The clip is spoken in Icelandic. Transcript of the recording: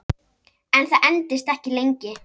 En það entist ekki lengi